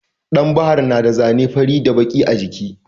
Ɗan bahar na da zane baƙi da fari a jiki.